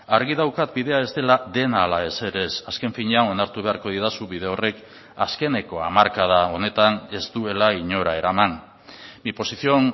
argi daukat bidea ez dela dena ala ezer ez azken finean onartu beharko didazu bide horrek azkeneko hamarkada honetan ez duela inora eraman mi posición